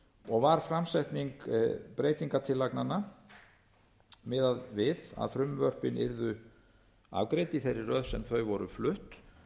og var framsetning breytingartillagnanna miðuð við að frumvörpin yrðu afgreidd í þeirri röð sem þau voru flutt